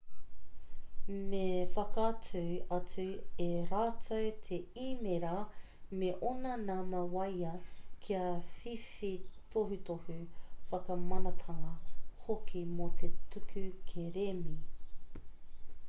me whakaatu atu e rātou te īmēra me ōna nama waea kia whiwhi tohutohu/whakamanatanga hoki mō te tuku kerēme